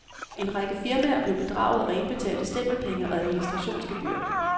En række firmaer blev bedraget og indbetalte stempelpenge og administrationsgebyrer.